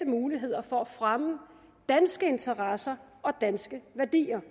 muligheder for at fremme danske interesser og danske værdier